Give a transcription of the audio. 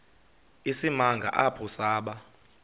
isimanga apho saba